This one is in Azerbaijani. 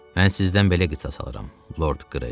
Mən sizdən belə qisas alıram, Lord Greystoke.